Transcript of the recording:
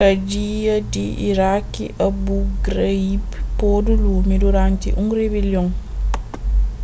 kadia di iraki abu ghraib podu lumi duranti un ribelion